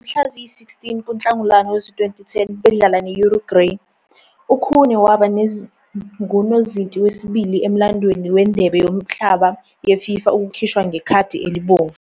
Ngomhla ziyi-16 kuNhlangulana wezi-2010 bedlala ne-Uruguay, uKhune waba ngunozinti wesibili emlandweni weNdebe Yomhlaba yeFIFA ukukhishwa ngekhadi elibomvu.